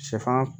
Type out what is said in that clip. Sɛfan